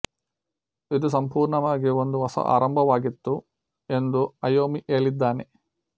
ಇದು ಸಂಪೂರ್ಣವಾಗಿ ಒಂದು ಹೊಸ ಆರಂಭವಾಗಿತ್ತು ಎಂದು ಐಯೋಮಿ ಹೇಳಿದ್ದಾನೆ